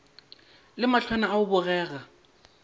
le mahlwana a go bogega